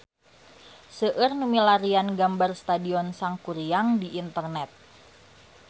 Seueur nu milarian gambar Stadion Sangkuriang di internet